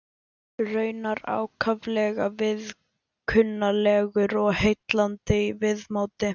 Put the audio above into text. Raunar ákaflega viðkunnanlegur og heillandi í viðmóti.